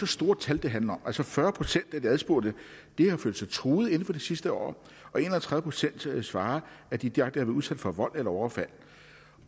store tal det handler altså fyrre procent af de adspurgte har følt sig truet inden for det sidste år og en og tredive procent svarer at de direkte har været udsat for vold eller overfald